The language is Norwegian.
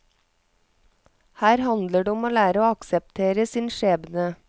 Her handler det om å lære å akseptere sin skjebne.